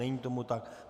Není tomu tak.